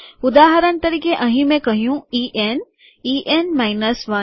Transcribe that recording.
ઉદાહરણ તરીકે અહીં મેં કહ્યું E N E N minus ૧